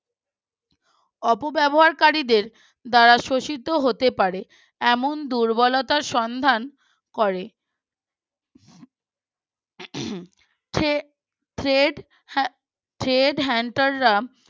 অপব্যবহারকারীদের দ্বারা শোষিত হতে পারেন এমন দুর্বলতার সন্ধান করেন । three thread thread hunter রা